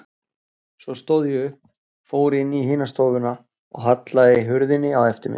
Svo stóð ég upp, fór inn í hina stofuna og hallaði hurðinni á eftir mér.